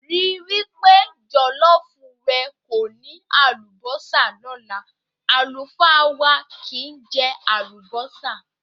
Rí wí pé jọ̀lọ́ọ́fù rẹ kò ní àlùbọ́sà lọ́la, àlùfáà wà kìí jẹ àlùbọ́sà.